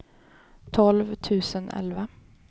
tolv tusen elva